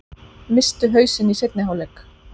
Misstu hausinn í seinni hálfleik